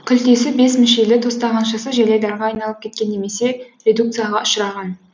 күлтесі бес мүшелі тостағаншасы желайдарға айналып кеткен немесе редукцияға ұшыраған